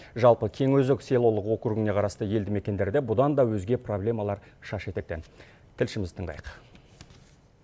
жалпы кеңөзек селолық округіне қарасты елді мекендерде бұдан да өзге проблемалар шаш етектен тілшімізді тыңдайық